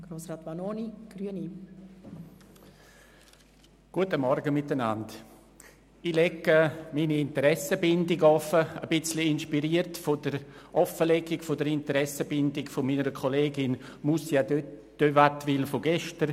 Ich lege meine Interessenbindung offen, ein bisschen inspiriert von der Offenlegung der Interessenbindungen meiner Kollegin Moussia de Wattenwyl von gestern: